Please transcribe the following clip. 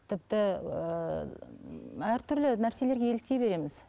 тіпті ііі әртүрлі нәрселерге еліктей береміз